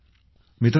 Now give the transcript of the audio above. मित्रांनो